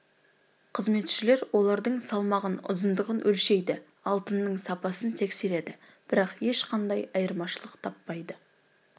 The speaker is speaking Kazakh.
қызметшілер олардың салмағын ұзындығын өлшейді алтынның сапасын тексереді бірақ ешқандай айырмашылық таппайды